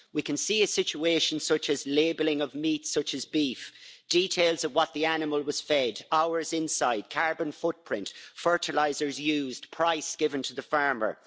We can see a situation such as labelling of meat such as beef, details of what the animal was fed, hours inside, carbon footprint, fertilisers used, price given to the farmer.